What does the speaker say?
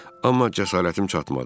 Amma cəsarətim çatmadı.